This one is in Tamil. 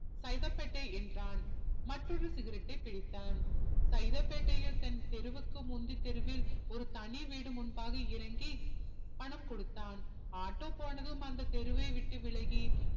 சைதாபேட்டை என்றான் மற்றோரு cigarette டை பிரித்தான் சைதாப்பேட்டையில் தன் தெருவிக்கு முந்தி தெருவில் ஒரு தனி வீடு முன்பாக இறங்கி பணம் கொடுத்தான் ஆட்டோ போனதும் அந்த தெருவை விட்டு விலகி